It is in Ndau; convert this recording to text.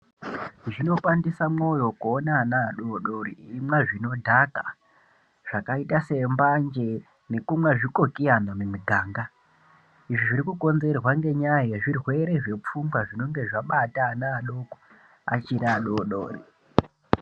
Zvinopandisa mwoyo kuona ana adodori achimwa zvinodhaka zvakaita sembanje nekumwe zvikokiyana mumuganga. Izvi zvirikukonzerwa ngenyaya yezvirwere zvepfungwa zvinonge zvabata ana adoko achiri adodori.